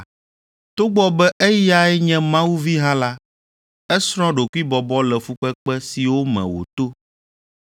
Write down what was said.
Togbɔ be eyae nye Mawu vi hã la, esrɔ̃ ɖokuibɔbɔ le fukpekpe siwo me wòto,